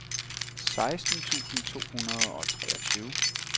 seksten tusind to hundrede og treogtyve